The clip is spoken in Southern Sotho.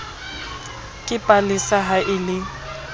ke palesa ha e le